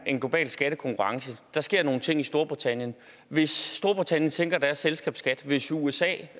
en global skattekonkurrence der sker nogle ting i storbritannien hvis storbritannien sænker deres selskabsskat hvis usa